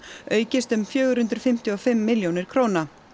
aukist um fjögur hundruð fimmtíu og fimm milljónir króna